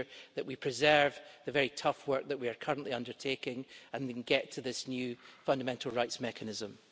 Ensure that we preserve the very tough work that we are currently undertaking and then get to this new fundamental rights mechanism.